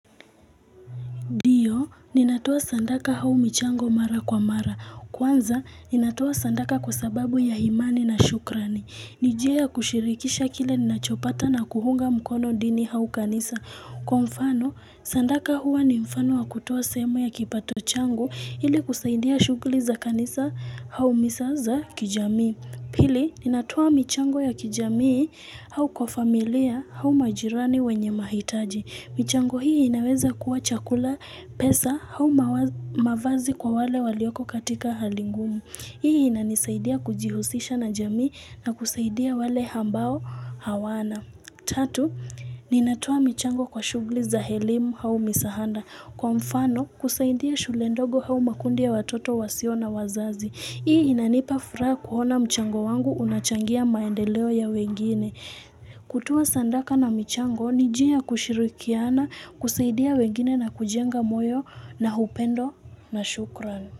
Ndio, ninatoa sadaka au michango mara kwa mara. Kwanza, ninatoa sadaka kwa sababu ya imani na shukrani. Ni njia ya kushirikisha kile ninachopata na kuunga mkono dini au kanisa. Kwa mfano, sadaka huwa ni mfano wa kutoa sehemu ya kipato changu ili kusaidia shughuli za kanisa au misa za kijamii. Pili, ninatoa michango ya kijamii au kwa familia au majirani wenye mahitaji. Michango hii inaweza kuwa chakula pesa au mavazi kwa wale walioko katika hali ngumu. Hii inanisaidia kujihusisha na jamii na kusaidia wale ambao hawana. Tatu, ninatoa michango kwa shughuli za elimu au misaada. Kwa mfano, kusaidia shule ndogo au makundi ya watoto wasio na wazazi. Hii inanipa furaha kuona mchango wangu unachangia maendeleo ya wengine. Kutoa sadaka na michango, ni njia ya kushirikiana, kusaidia wengine na kujenga moyo na upendo na shukran.